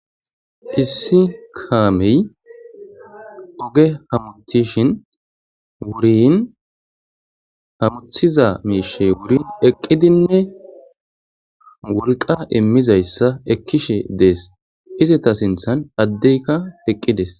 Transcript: Issi kaamey oge hamuttishin wuriin hammuthiza miishey wuriin eqqidinne wolqqa imiizaysa ekkishe dees; izeta sinththan addeyka eqqi dees.